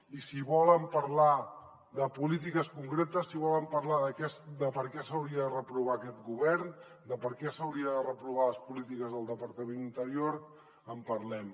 i si volen parlar de polítiques concretes si volen parlar de per què s’hauria de reprovar aquest govern de per què s’haurien de reprovar les polítiques del departament d’interior en parlem